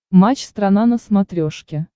матч страна на смотрешке